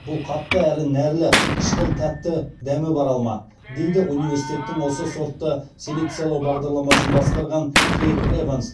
бұл қатты әрі нәрлі қышқыл тәтті дәмі бар алма дейді университеттің осы сортты селекциялау бағдарламасын басқарған кейт эванс